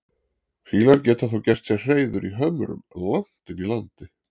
Fýlar geta þó gert sér hreiður í hömrum langt inni í landi.